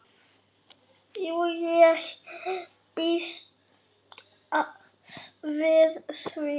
Jú, ég býst við því